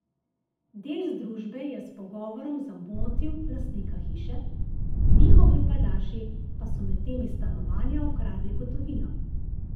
Del združbe je s pogovorom zamotil lastnika hiše, njihovi pajdaši pa so medtem iz stanovanja ukradli gotovino.